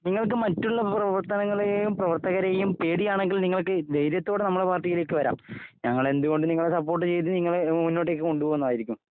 നിങ്ങൾക്ക് മറ്റുള്ള പ്രവർത്തനങ്ങളെയും പ്രവർത്തകരെയും പേടിയാണെങ്കിൽ നിങ്ങൾക്ക് ധൈര്യത്തോടെ ഞങ്ങളുടെ പാർട്ടിയിലേക്ക് വരാം ഞങ്ങൾ എന്ത് കൊണ്ട് സപ്പോർട്ട് ചെയ്ത നിങ്ങളെ മുന്നോട്ടേക്ക് കൊണ്ടുപോകുന്നതായിരിക്കും